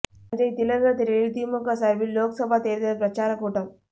தஞ்சை திலகர் திடலில் திமுக சார்பில் லோக்சபா தேர்தல் பிரச்சார கூட்டம்